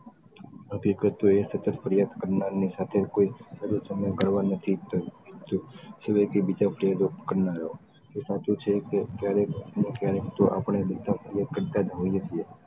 હકીકત તો એ છે ક ફરિયાદ કરનાર ની સાથે કોઈ ક્યારેક ને ક્યારેક તો આપણે બધા જ ફરિયાદ કરતાં જ હોઈએ છીએ.